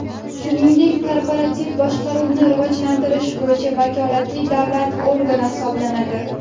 shuningdek korporativ boshqaruvni rivojlantirish bo‘yicha vakolatli davlat organi hisoblanadi.